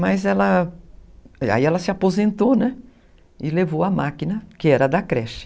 Mas ela, aí ela se aposentou, né, e levou a máquina, que era da creche.